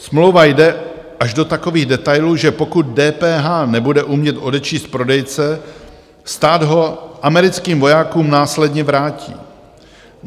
Smlouva jde až do takových detailů, že pokud DPH nebude umět odečíst prodejce, stát ho americkým vojákům následně vrátí.